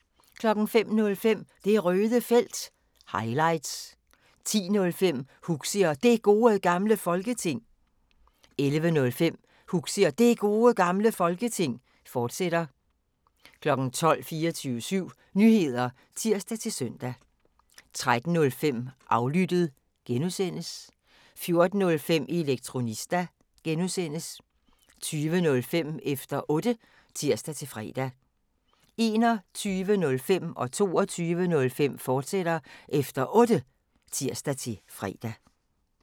05:05: Det Røde Felt – highlights 10:05: Huxi og Det Gode Gamle Folketing 11:05: Huxi og Det Gode Gamle Folketing, fortsat 12:00: 24syv Nyheder (tir-søn) 13:05: Aflyttet (G) 14:05: Elektronista (G) 20:05: Efter Otte (tir-fre) 21:05: Efter Otte, fortsat (tir-fre) 22:05: Efter Otte, fortsat (tir-fre)